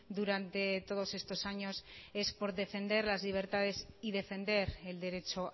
durante todos estos años es por defender las libertades y defender el derecho